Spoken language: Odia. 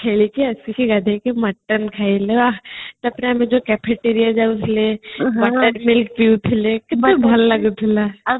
ଖେଳିକି ଆସିକି ଗଧେଇକି ମଟନ ଖାଇଲ ତାପରେ ଆମେ ଯୋଉ cafetoria ଯାଉଥିଲେ bakadi milk ପିଉଥିଲେ କେତେ ଭଲ ଲାଗୁଥିଲା